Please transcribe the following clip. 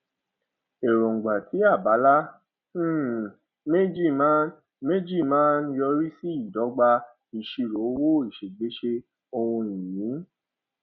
èróńgbà ti abala um méjì máa ń méjì máa ń yọrí sí ìdọgba isiro owó iṣẹgbèsè ohun ìní